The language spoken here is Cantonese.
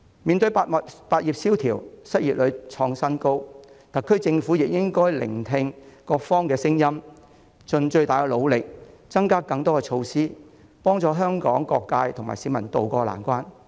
面對百業蕭條、失業率創新高，特區政府亦應該聆聽各方的聲音，盡最大努力推出更多措施，協助香港各界及市民渡過難關。